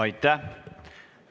Aitäh!